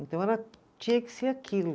Então ela tinha que ser aquilo.